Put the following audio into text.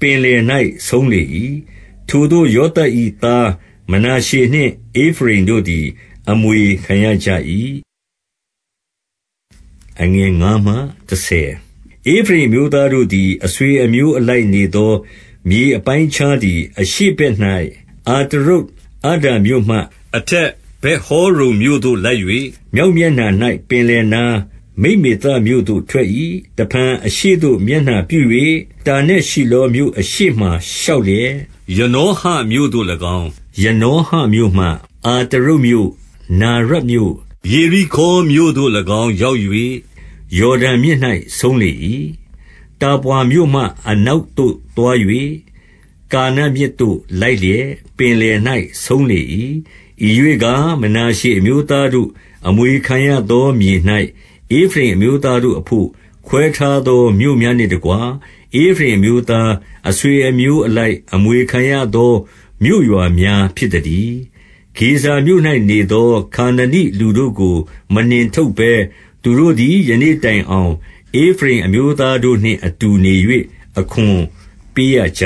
ပင်လယ်၌ဆုံးလေ၏။ 4 ထိုသို့ ယောသပ်၏သား မနာရှေနှင့် ဧဖရိမ်တို့ သည် အမွေခံရကြ၏။ 5 ဧဖရိမ်အမျိုးသားတို့သည် အဆွေအမျိုးအလိုက် နေသော မြေအပိုင်းအခြားသည်၊ အရှေ့ဘက်၌ အတရုတ် အဒ္ဒါမြို့မှ အထက်ဗက်ဟောရုန်မြို့သို့ လိုက်၍၊ 6 မြောက်မျက်နှာ၌ ပင်လယ်နား၊ မိတ်မေသမြို့သို့ ထွက်၏။ တဖန် အရှေ့သို့ မျက်နှာပြု၍ တာနတ်ရှိလော မြို့အရှေ့မှာ ရှောက်လျက်၊ 7 ယနောဟမြို့သို့၎င်း၊ ယနောဟမြို့မှ အတရုတ် မြို့၊ နာရတ်မြို့၊ ယေရိခေါမြို့သို့၎င်း ရောက်၍ ယော်ဒန် မြစ်၌ ဆုံးလေ၏။ 8 တာပွါမြို့မှ အနောက်သို့သွား၍ ကာနမြစ်သို့ လိုက်လျက် ပင်လယ်၌ ဆုံးလေ၏။ 9 ဤရွေ့ကား၊ မနာရှေအမျိုးသားတို့အဘို့ အမွေ ခံရသောမြေ၌ ဧဖရိမ်အမျိုးသားတို့အဘို့ ခွဲထားသော မြို့များနှင့်တကွ ဧဖရိမ်အမျိုးသား အဆွေအမျိုးအလိုက် အမွေခံရသော မြို့ရွာများဖြစ်သတည်း။ 10 ဂေဇာမြို့၌နေသော ခါနနိလူတို့ကို မနှင်ထုတ် ဘဲ သူတို့သည် ယနေ့တိုင်အောင် ဧဖရိမ်အမျိုးသားတို့နှင့် အတူနေ၍ အခွန်ပေးရကြ